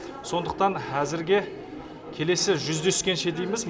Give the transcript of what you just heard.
сондықтан әзірге келесі жүздескенше дейміз